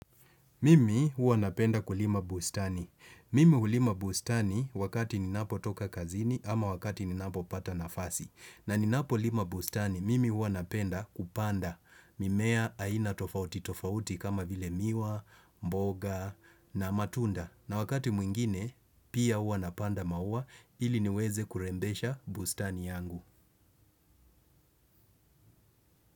Mimi huwa napenda kulima bustani. Mimi hulima bustani wakati ninapotoka kazini ama wakati ninapo pata nafasi. Na ninapo lima bustani, mimi huwa napenda kupanda. Mimea aina tofauti tofauti kama vile miwa, mboga na matunda. Na wakati mwingine, pia huwa napanda maua ili niweze kurembesha bustani yangu.